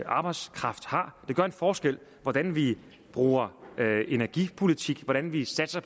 arbejdskraft har det gør en forskel hvordan vi bruger energipolitikken hvordan vi satser